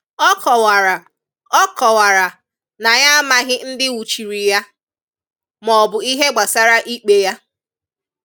Ọ kọwara Ọ kọwara na ya amaghị ndị nwụchiri ya, ma ọbụ ihe gbasara ịkpé ya.